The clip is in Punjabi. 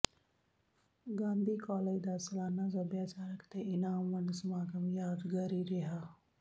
ਗਾਂਧੀ ਕਾਲਜ ਦਾ ਸਾਲਾਨਾ ਸਭਿਆਚਾਰਕ ਤੇ ਇਨਾਮ ਵੰਡ ਸਮਾਗਮ ਯਾਦਗਾਰੀ ਰਿਹਾ